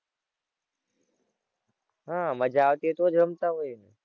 હાં મજા આવતી હોય તો જ રમતાં હોય ને.